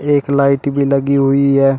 एक लाइट भी लगी हुई है।